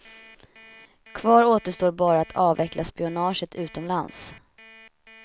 Kvar återstår bara att avveckla spionaget utomlands.